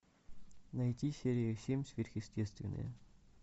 найти серию семь сверхъестественное